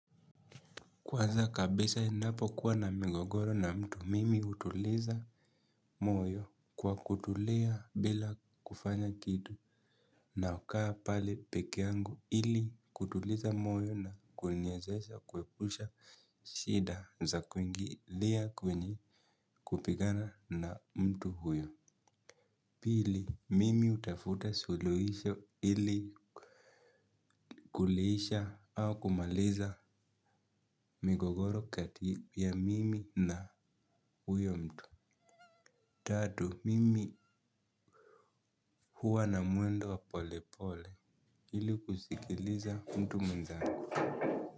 Kwanza kabisa ninapokuwa na migogoro na mtu, mimi hutuliza moyo kwa kutulia bila kufanya kitu nakaa pale pekeangu ili kutuliza moyo na kunyezesha kuepusha shida za kuingilia kwenye kupigana na mtu huyo. Pili, mimi hutafuta suluhisho ili kuliisha au kumaliza migogoro kati ya mimi na huyo mtu. Tatu, mimi huwa na mwendo wa polepole, ili kusikiliza mtu mwenzangu.